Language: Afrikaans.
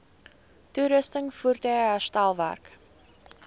toerusting voertuie herstelwerk